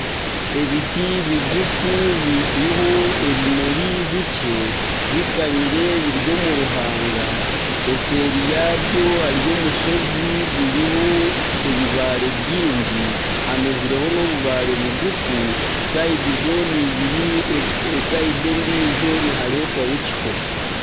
Ebiti bigufu biriho ebimuri bikye bikanyire biri omu ruhaanga. Eseeri yabyo hariyo omushozi guriho ebibaare biingi, hamezireho n'obubaare bugufu, sayidi zoona ibiri. Sayidi endijo niharetwayo ekiho.